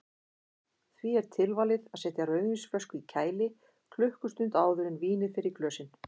Því er tilvalið að setja rauðvínsflösku í kæli klukkustund áður en vínið fer í glösin.